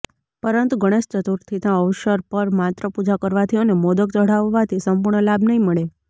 પરંતુ ગણેશ ચતુર્થીના અવસર પર માત્ર પૂજા કરવાથી અને મોદક ચઢાવવાથી સંપૂર્ણ લાભ નહીં મળે